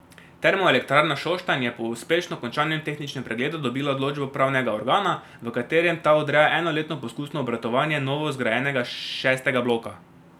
Termoelektrarna Šoštanj je po uspešno končanem tehničnem pregledu dobila odločbo upravnega organa, v katerem ta odreja enoletno poskusno obratovanje novozgrajenega šestega bloka.